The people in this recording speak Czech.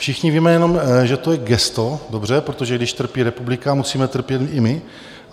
Všichni víme jenom, že to je gesto - dobře, protože když trpí republika, musíme trpět i my.